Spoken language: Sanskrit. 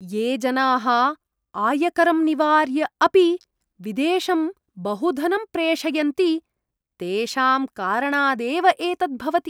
ये जनाः आयकरं निवार्य अपि विदेशं बहु धनं प्रेषयन्ति, तेषां कारणादेव एतत् भवति।